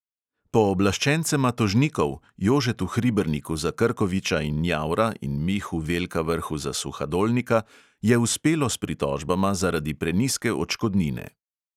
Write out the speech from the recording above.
Pooblaščencema tožnikov – jožetu hriberniku za krkoviča in njavra in mihu velkavrhu za suhadolnika – je uspelo s pritožbama zaradi prenizke odškodnine.